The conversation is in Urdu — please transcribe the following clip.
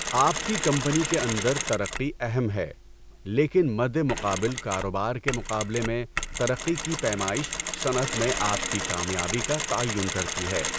آپ کی کمپنی کے اندر ترقی اہم ہے، لیکن مدِ مقابل کاروبار کے مقابلے میں ترقی کی پیمائش صنعت میں آپ کی کامیابی کا تعین کرتی ہے۔